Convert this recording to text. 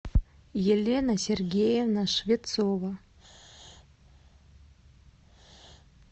елена сергеевна швецова